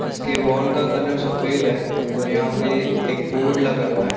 इसके वॉल का कलर सफेद है और यहाँ पर एक बोर्ड लगा हुआ हैं।